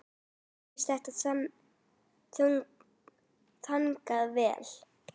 Mér fannst þetta ganga vel.